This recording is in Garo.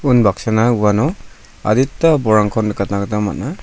unbaksana uano adita bolrangko nikatna gita man·a.